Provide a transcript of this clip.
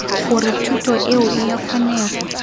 gore thuto eo ea kgonega